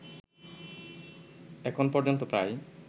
এখন পর্যন্ত প্রায়